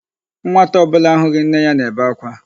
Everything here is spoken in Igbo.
Nwata ọ bụla ahụghị nne ya nebe akwa.